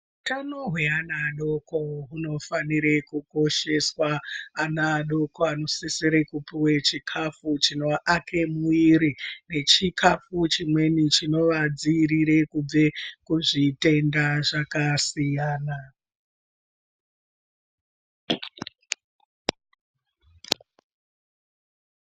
Utano hweana adoko hunofanire kukosheswa ana adoko anosisire kupuwe chikafu chinoake muiri nechikafu chimweni chinooadziirire kubve kuzvitenda zvakasiyana.